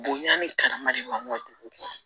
Bonya ni karama de b'an ka dugu kɔnɔ